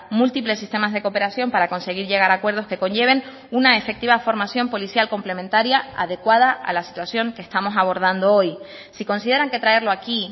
múltiples sistemas de cooperación para conseguir llegar a acuerdos que conlleven una efectiva formación policial complementaria adecuada a la situación que estamos abordando hoy si consideran que traerlo aquí